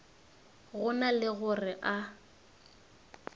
go na le gore a